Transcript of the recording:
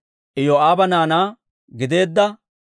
Elaama yaratuu 1,254.